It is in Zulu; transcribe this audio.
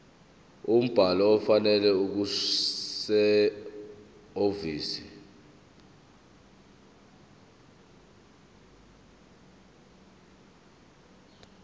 umbhalo ofanele okusehhovisi